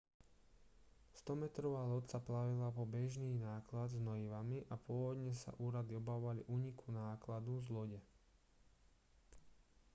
100-metrová loď sa plavila po bežný náklad s hnojivami a pôvodne sa úrady obávali úniku nákladu z lode